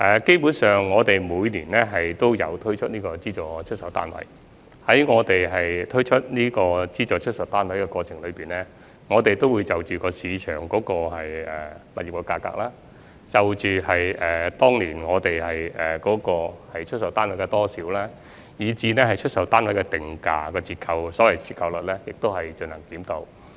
基本上，我們每年都有推出資助出售單位，我們推出資助出售單位的過程中，會盡量就着市場的物業價格、當年出售單位的數量，以至出售單位的定價折扣作出檢討。